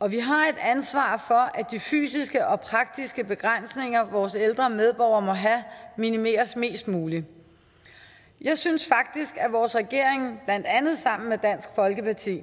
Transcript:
og vi har et ansvar for at de fysiske og praktiske begrænsninger vores ældre medborgere måtte have minimeres mest muligt jeg synes faktisk at vores regering blandt andet sammen med dansk folkeparti